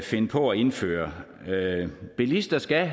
finde på at indføre bilister skal